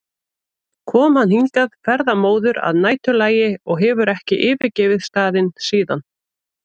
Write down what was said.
kom hann hingað ferðamóður að næturlagi og hefur ekki yfirgefið staðinn síðan.